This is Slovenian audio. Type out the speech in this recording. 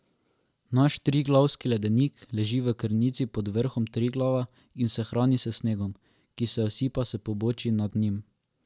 Naš Triglavski ledenik leži v krnici pod vrhom Triglava in se hrani s snegom, ki se usipa s pobočij nad njim.